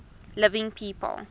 living people